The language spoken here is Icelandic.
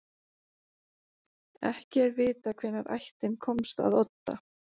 Ekki er vitað hvenær ættin komst að Odda.